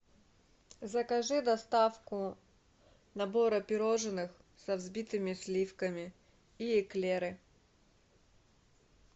закажи доставку набора пирожных со взбитыми сливками и эклеры